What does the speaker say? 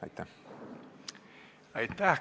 Aitäh!